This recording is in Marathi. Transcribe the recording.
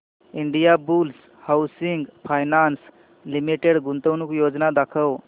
इंडियाबुल्स हाऊसिंग फायनान्स लिमिटेड गुंतवणूक योजना दाखव